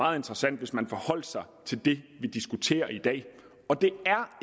meget interessant hvis man forholdt sig til det vi diskuterer i dag og det